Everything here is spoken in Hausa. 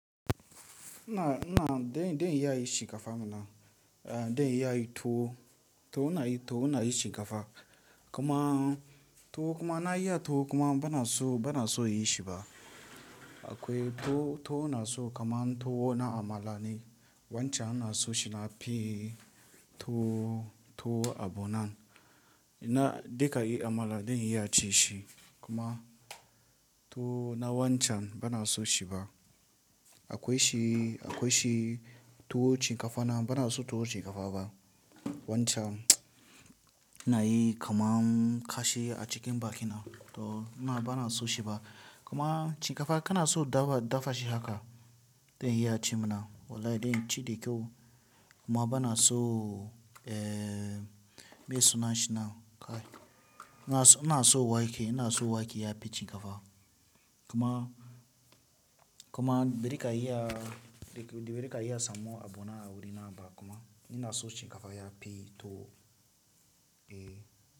Ina, ina, zan iya dai shi shinkafa mana, eh zan iya yin towo, to ina yi towo ina yin shiikafa. Kuma towo kuma na iya towo kuma bana so so yi shi ba. Akwai tuwo, tuwo inason shin kamar na amala ne waccan ina son shi nafi tuwo abu nan na duka a amala din inason shi amma tuwo nanwaccan bana sonshi bah. Akwai shi akwai shi tuwo chin kafa na bana so tuwo shin kafa ba. Wancan anayi kamar kashi acikin bakina bana san shi ba kuma shin kafa kana so dafa dafa shi haka dai iya ci mana. Wallahi dai ci dai kawai kuma bana so eh me sunan shi na? Kai. Ina so ina so wake ina so wake ya fi shin kafa. Kuma, kuma bazaka iya samo bah inaso shin kafa yafi tuwo.